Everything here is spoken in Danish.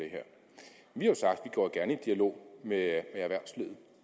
dialog med erhvervslivet